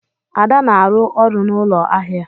Ada na-arụ ọrụ n'ụlọ ahịa.